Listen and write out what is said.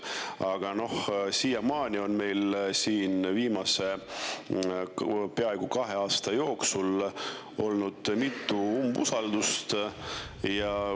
Aga siiamaani on meil viimase peaaegu kahe aasta jooksul olnud mitu umbusaldus.